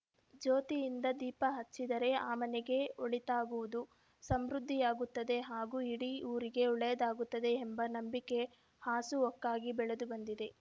ಜ್ಯೋತಿಯಿಂದ ದೀಪ ಹಚ್ಚಿದರೆ ಆ ಮನೆಗೆ ಒಳಿತಾಗುವುದು ಸಮೃದ್ಧಿಯಾಗುತ್ತದೆ ಹಾಗೂ ಇಡೀ ಊರಿಗೆ ಒಳ್ಳೆದಾಗುತ್ತದೆ ಎಂಬ ನಂಬಿಕೆ ಹಾಸು ಹೊಕ್ಕಾಗಿ ಬೆಳೆದು ಬಂದಿದೆ